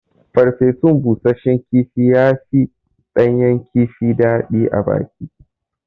Farfesun bushashshen kifi ya fi ɗanyan kifi daɗi abaki